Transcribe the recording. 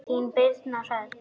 Þín Birna Hrönn.